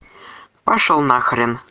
пошёл на хрен